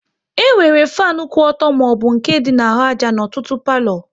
E nwere fanu kwụ ọtọ maọbụ nke dị na-ahụ àjà n'ọtụtụ palo